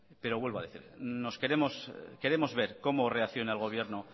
pero vuelvo a decir queremos ver cómo reacciona el gobierno